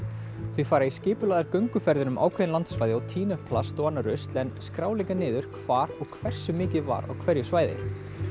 þau fara í skipulagðar gönguferðir um ákveðin landssvæði og tína upp plast og annað rusl en skrá líka niður hvar og hversu mikið var á hverju svæði